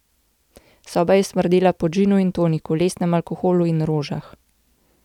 Soba je smrdela po džinu in toniku, lesnem alkoholu in rožah.